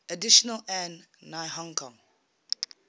additionally an nihongo